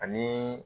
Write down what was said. Ani